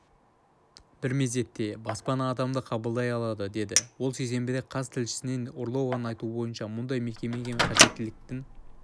бір мезетте баспана адамды қабылдай алады деді ол сейсенбіде қаз тілшісіне орлованың айтуынша мұндай мекемеге қажеттіліктің